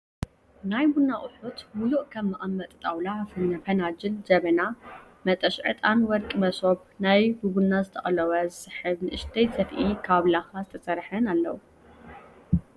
ናይ ቡና ኣቁሑት ሙሉእ ከም መቀመጢ ጣውላ ፣ፍናጅል፣ ጀበና፣ መጠሸ ዕጣን፣ ወርቂ መሶብ፣ ናይ በቡና ዝተቆለወ ዝሕብ ንእሽተይ ሰፍኢ ካብ ላካ ዝተሰርሐን ኣለዉ ።